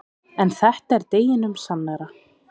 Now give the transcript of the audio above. En þetta er deginum sannara.